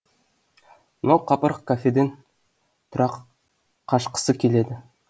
мынау қапырық кафеден тұрақ қашқысы келеді